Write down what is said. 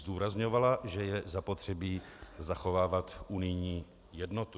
Zdůrazňovala, že je zapotřebí zachovávat unijní jednotu.